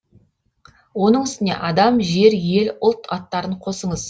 оның үстіне адам жер ел ұлт аттарын қосыңыз